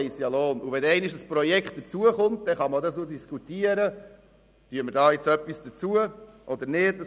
Wenn einmal ein Projekt dazukommt, kann man darüber diskutieren, ob eine zusätzliche Entschädigung dafür geleistet wird.